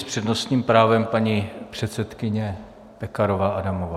S přednostním právem paní předsedkyně Pekarová Adamová.